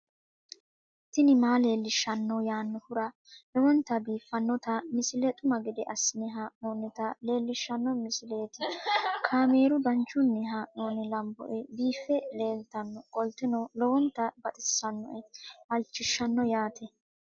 tini maa leelishshanno yaannohura lowonta biiffanota misile xuma gede assine haa'noonnita leellishshanno misileeti kaameru danchunni haa'noonni lamboe biiffe leeeltannoqolten lowonta baxissannoe halchishshanno yaate